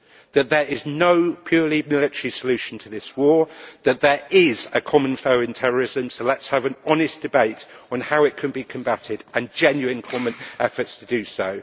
that there is no purely military solution to this war that there is a common foe in terrorism so let us have an honest debate on how it can be combatted and genuine common efforts to do so